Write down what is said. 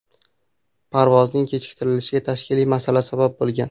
Parvozning kechiktirilishiga tashkiliy masala sabab bo‘lgan.